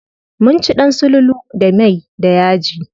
Mun ci ɗan sululu da mai da yaji.